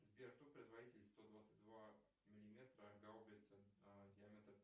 сбер кто производитель сто двадцать два миллиметра гаубица диаметр